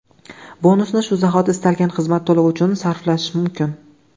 Bonusni shu zahoti istalgan xizmat to‘lovi uchun sarflash mumkin.